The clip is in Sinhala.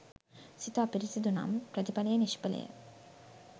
සිත අපිරිසුදු නම් ප්‍රතිඵලය නිෂ්ඵලය.